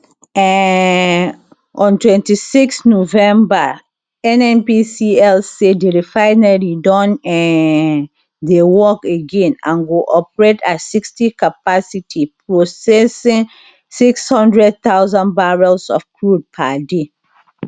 um on twenty six november nnpcl say di refinery don um dey work again and go operate at sixty capacity processing six hundred thousands barrels of crude per day